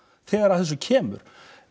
þegar að þessu kemur